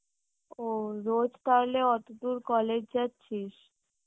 ও রোজ তাহলে অতদূর college যাচ্ছিস?